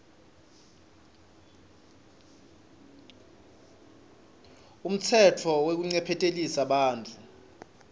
umtsetfo wekuncephetelisa bantfu